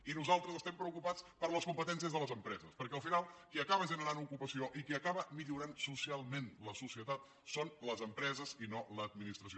i nosaltres estem preocupats per les competències de les empreses perquè al final qui acaba generant ocupació i qui acaba millorant socialment la societat són les empreses i no l’administració